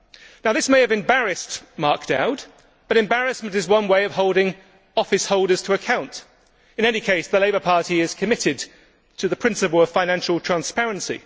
Now this may have embarrassed Mark Dowd, but embarrassment is one way of holding office holders to account. In any case, the Labour Party is committed to the principle of financial transparency.